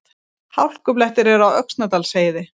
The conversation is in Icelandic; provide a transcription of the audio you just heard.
Hálkublettir eru á Öxnadalsheiði